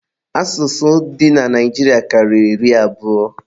Asụsụ dị na Naijiria karịrị iri abụọ